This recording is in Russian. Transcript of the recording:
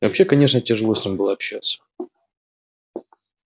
вообще конечно тяжело с ним было общаться